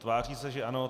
Tváří se, že ano.